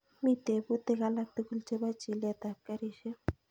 Mi teputik alak tugul chepo chilet ap karishek